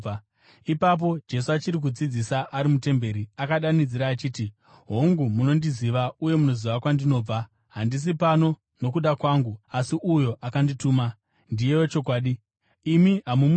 Ipapo Jesu, achiri kudzidzisa ari mutemberi, akadanidzira achiti, “Hongu, munondiziva, uye munoziva kwandinobva. Handisi pano nokuda kwangu, asi uyo akandituma ndiye wechokwadi. Imi hamumuzivi,